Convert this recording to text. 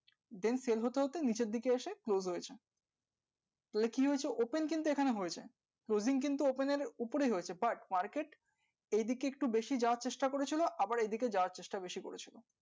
then sale হতে হতে নিচের দিকে এসে close হয়েছে। এবার কি হয়েছে open কিন্তু এখানে হয়েছে closing থেকে থেকে নিচের দিকে গেছে ছেড়ে গেছে এদিক কিন্তু open এর উপরেই হয়েছে but market এই দিকে একটু বেশি যাওয়ার চেষ্টা করেছিল আবার এই দিকে যাওয়ার চেষ্টা বেশি করে ছিল